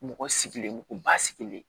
Mɔgɔ sigilen ko ba sigilen